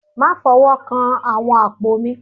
Má fọwọ́ kan àwọn àpò mi